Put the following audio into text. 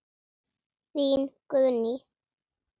Þín, Guðný.